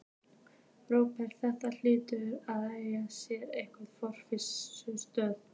Róbert: Þetta hlýtur að eiga sér einhverja forsögu?